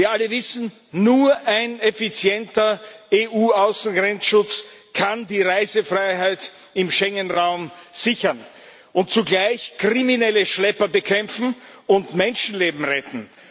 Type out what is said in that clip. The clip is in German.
Wir alle wissen Nur ein effizienter EU Außengrenzschutz kann die Reisefreiheit im Schengen Raum sichern und zugleich kriminelle Schlepper bekämpfen und Menschenleben retten.